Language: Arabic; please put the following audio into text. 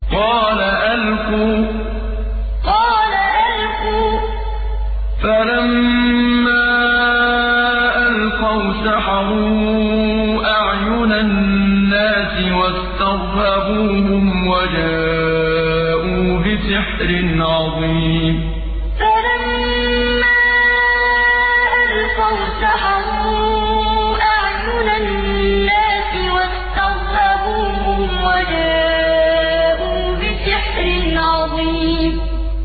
قَالَ أَلْقُوا ۖ فَلَمَّا أَلْقَوْا سَحَرُوا أَعْيُنَ النَّاسِ وَاسْتَرْهَبُوهُمْ وَجَاءُوا بِسِحْرٍ عَظِيمٍ قَالَ أَلْقُوا ۖ فَلَمَّا أَلْقَوْا سَحَرُوا أَعْيُنَ النَّاسِ وَاسْتَرْهَبُوهُمْ وَجَاءُوا بِسِحْرٍ عَظِيمٍ